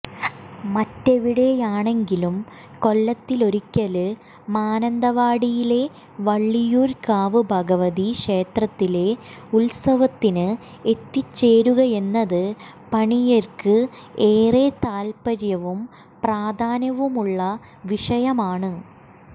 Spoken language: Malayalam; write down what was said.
മറ്റെവിടെയാണെങ്കിലും കൊല്ലത്തിലൊരിക്കല് മാനന്തവാടിയിലെ വള്ളിയൂര്ക്കാവ് ഭഗവതി ക്ഷേത്രത്തിലെ ഉത്സവത്തിന് എത്തിച്ചേരുകയെന്നത് പണിയര്ക്ക് ഏറെ താല്പര്യവും പ്രാധാന്യവുമുള്ള വിഷയമാണ്